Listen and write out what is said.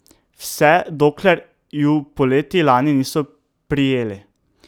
Vse dokler ju poleti lani niso prijeli.